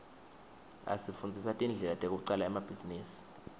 asifundzisa tindlela tekucala emabhizinisi